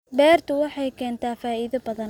Beertu waxay keentaa faa'iido badan